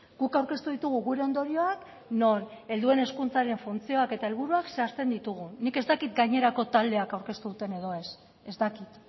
guk aurkeztu ditugu gure ondorioak non helduen hezkuntzaren funtzioak eta helburuak zehazten ditugun nik ez dakit gainerako taldeek aurkeztu duten edo ez ez dakit